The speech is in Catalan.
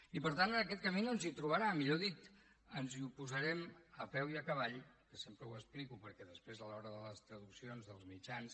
i per tant en aquest camí no ens hi trobarà millor dit ens hi oposarem a peu i a cavall que sempre ho explico perquè després a l’hora de les traduccions dels mitjans